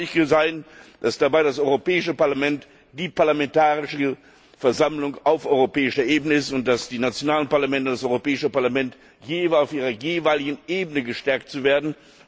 Es muss deutlich sein, dass dabei das Europäische Parlament die parlamentarische Versammlung auf europäischer Ebene ist und dass die nationalen Parlamente und das Europäische Parlament immer auf ihrer jeweiligen Ebene gestärkt werden.